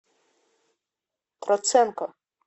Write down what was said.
троценко